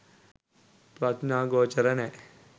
ප්‍රඥාගෝචර නැ.